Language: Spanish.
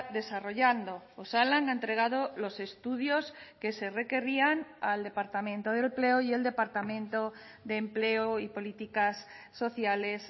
desarrollando osalan ha entregado los estudios que se requerían al departamento de empleo y el departamento de empleo y políticas sociales